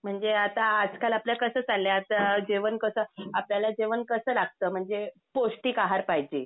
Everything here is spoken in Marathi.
म्हणजे आता आजकाल आपलं कस चाललंय आता जेवण कस आपल्याला जेवण कस लागत म्हणजे पौष्टिक आहार पाहिजे.